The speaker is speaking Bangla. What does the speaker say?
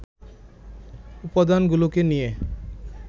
উপাদানগুলোকে নিয়ে